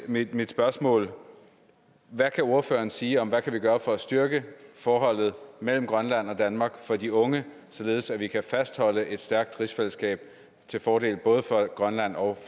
mit mit spørgsmål hvad kan ordføreren sige om hvad vi kan gøre for at styrke forholdet mellem grønland og danmark for de unge således at vi kan fastholde et stærkt rigsfællesskab til fordel både for grønland og